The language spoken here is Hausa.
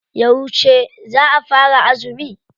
Yauce za a fara azumi?